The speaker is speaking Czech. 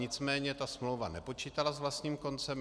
Nicméně ta smlouva nepočítala s vlastním koncem.